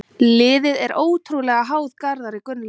Liðið er ótrúlega háð Garðari Gunnlaugs.